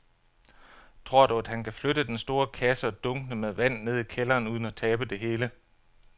Tror du, at han kan flytte den store kasse og dunkene med vand ned i kælderen uden at tabe det hele?